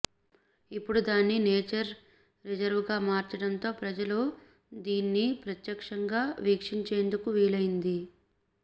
ఇప్పుడు దాన్ని నేచర్ రిజర్వ్గా మార్చడంతో ప్రజలు దీన్ని ప్రత్యక్షంగా వీక్షించేందుకు వీలయింది